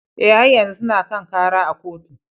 Eh, har yanzu suna kan kara a kotu.